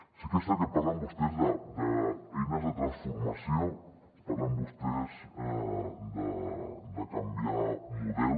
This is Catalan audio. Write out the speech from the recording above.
sí que és cert que parlen vostès d’eines de transformació parlen vostès de canviar de model